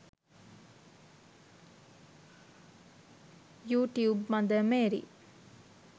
you tube mother Mary